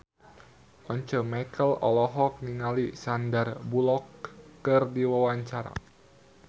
Once Mekel olohok ningali Sandar Bullock keur diwawancara